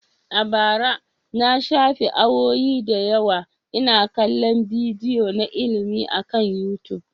A bara, na shafe sa'o'i da yawa ina kallon bidiyoyi na ilimi akan YouTube.